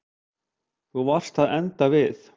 Þú varst að enda við.